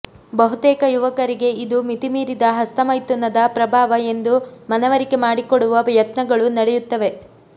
ಬಹುತೇಕ ಯುವಕರಿಗೆ ಇದು ಮಿತಿಮೀರಿದ ಹಸ್ತಮೈಥುನದ ಪ್ರಭಾವ ಎಂದೂ ಮನವರಿಕೆ ಮಾಡಿಕೊಡುವ ಯತ್ನಗಳು ನಡೆಯುತ್ತವೆ